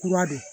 Kura don